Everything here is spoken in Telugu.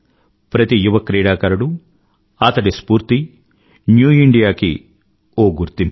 ప్రతి యువక్రీడాకారుడూ అతడి స్ఫూర్తి న్యూ ఇండియాకి గుర్తింపు